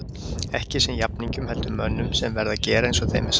Ekki sem jafningjum heldur mönnum sem verða að gera eins og þeim er sagt.